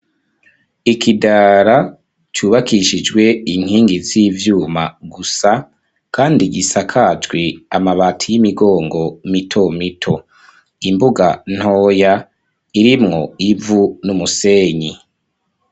Ikidara cubakishijwe inkingi z'ivyuma gusa kandi gisakajwe amabati y'imigongo mito mito imbuga ntoya irimwo ivu n'umusenyi.